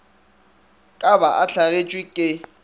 ka ba a hlagetšwe ke